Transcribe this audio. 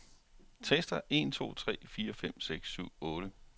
Tester en to tre fire fem seks syv otte.